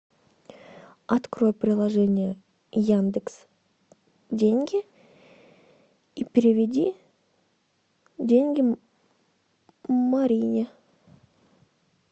открой приложение яндекс деньги и переведи деньги марине